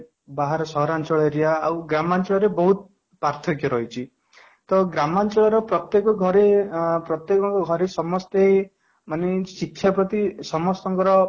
ବାହାରେ ସହରାଞ୍ଚଳ area ଆଉ ଗ୍ରାମାଞ୍ଚଳ ରେ ବହୁତ ପାର୍ଥକ୍ୟ ରହିଛି ତ ଗ୍ରାମାଞ୍ଚଳ ର ପ୍ରତ୍ୟେକ ଘରେ ପ୍ରତ୍ୟେକ ଘରେ ସମସ୍ତେ ମାନେ ଶିକ୍ଷା ପ୍ରତି ସମସ୍ତଙ୍କର